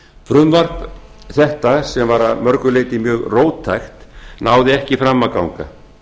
frumvarp þetta sem var að mörgu leyti mjög róttækt náði ekki fram að ganga